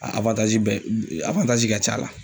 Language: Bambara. A bɛ ka c'a la.